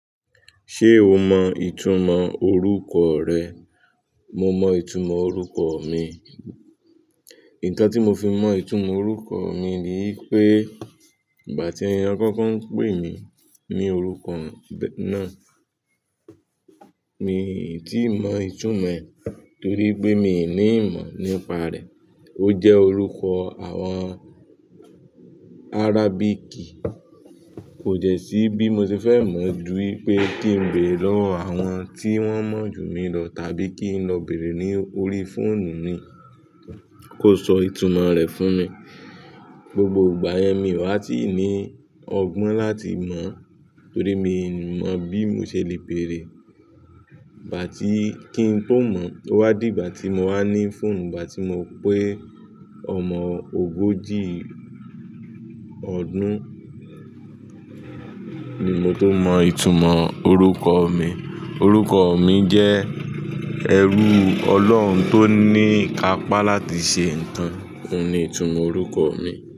Ṣé o mọ ìtumọ̀ orúkọ rẹ? Mo mọ ìtumọ̀ orúkọ mi. Nkan tí mo fi mọ ìtumọ̀ orúkọ mi ni pé, ìgbà tí ẹ kọ́kọ́ ń pè mí ní orúkọ náà, mi ò tí ì mọ ìtumọ̀ ẹ̀ torí pé mi ò ní ìmọ̀ nípa rẹ̀. Ó jẹ́ orúkọ àwọn Arabic. Kò dẹ́ sí bí mo ṣe fẹ́ mọ̀ ju wípé kí n béèrè lọ́wọ́ àwọn tí wọ́n mọ̀ ju mi lọ tàbí kí n lọ bèèrè ní orí fóònù mi kó sọ ìtumọ̀ rẹ̀ fún mi. Gbogbo ìgbà yẹn mi ò há tí ì ní ọgbọ́n láti mọ̀ torí mi ò mọ̀ bí mo ṣe le bèèrè. Bà tí kín n tó mọ̀, ó wá di ìgbà tí mo wá ní fóònù ìgbà tí mo pé ọmọ ogójì ọdún ni mo tó mọ ìtumọ̀ orúkọ mi. Orúkọ mi jẹ́ ẹrú Ọlọ́run tó ní ìkápá láti ṣe nǹkan. Óun ni ìtumọ̀ orúkọ mi.